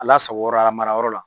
A lasago yɔrɔ la ,a mara yɔrɔ la.